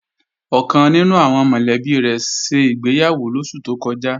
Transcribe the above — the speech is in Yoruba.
Ọ̀kan nínú àwọn mọ̀lẹ́bí rẹ̀ ṣègbéyàwó lóṣù tó kọjá